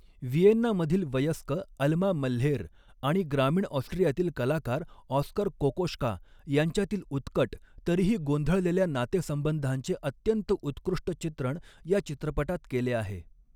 व्हिएन्नामधील वयस्क Alma Mahler आणि ग्रामीण ऑस्ट्रियातील कलाकार ऑस्कर कोकोश्का यांच्यातील उत्कट तरीही गोंधळलेल्या नातेसंबंधांचे अत्यंत उत्कृष्ट चित्रण या चित्रपटात केले आहे.